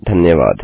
धन्यवाद